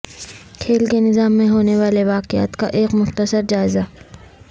کھیل کے نظام میں ہونے والے واقعات کا ایک مختصر جائزہ